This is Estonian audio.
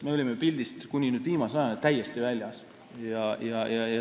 Me olime kuni viimase ajani täiesti pildist väljas.